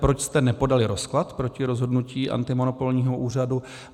Proč jste nepodali rozklad proti rozhodnutí antimonopolního úřadu?